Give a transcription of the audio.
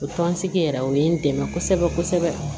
O tɔnsigi yɛrɛ o ye n dɛmɛ kosɛbɛ kosɛbɛ